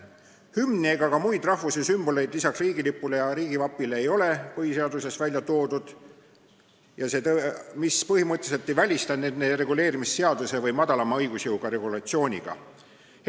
Hümni ega muid rahvuse sümboleid lisaks riigilipule ja riigivapile ei ole põhiseaduses välja toodud, mis põhimõtteliselt ei välista nende reguleerimist seadusega või madalama õigusjõuga regulatsiooniga.